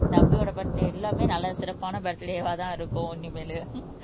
தம்பியோட பர்த்டே எல்லாமே நல்ல சிறப்பான பர்த்டேவாதான் இருக்கும் இனிமேலு